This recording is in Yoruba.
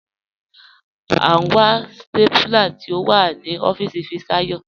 À n wà stápúlà tí o wà ní ọfiisi Fisayo.